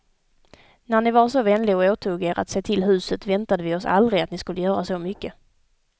När ni var så vänlig och åtog er att se till huset väntade vi oss aldrig att ni skulle göra så mycket.